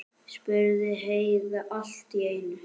spurði Heiða allt í einu.